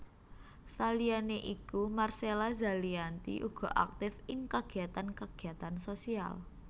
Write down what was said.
Saliyané iku Marcella Zalianty uga aktif ing kagiyatan kagiyatan sosial